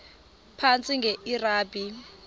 phantsi enge lrabi